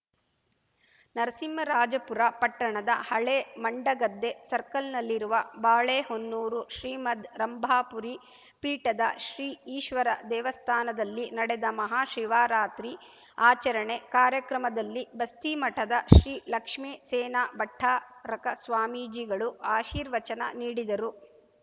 ನರಸಿಂಹರಾಜಪುರ ಪಟ್ಟಣದ ಹಳೇ ಮಂಡಗದ್ದೆ ಸರ್ಕಲ್‌ನಲ್ಲಿರುವ ಬಾಳೆಹೊನ್ನೂರು ಶ್ರೀಮದ್‌ ರಂಭಾಪುರಿ ಪೀಠದ ಶ್ರೀ ಈಶ್ವರ ದೇವಸ್ಥಾನದಲ್ಲಿ ನಡೆದ ಮಹಾಶಿವರಾತ್ರಿ ಆಚರಣೆ ಕಾರ್ಯಕ್ರಮದಲ್ಲಿ ಬಸ್ತಿಮಠದ ಶ್ರೀ ಲಕ್ಷ್ಮೇಸೇನ ಭಟ್ಟಾರಕ ಸ್ವಾಮೀಜಿಗಳು ಆಶೀರ್ವಚನ ನೀಡಿದರು